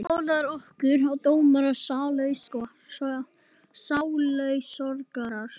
Böðlar okkar og dómarar og sálusorgarar.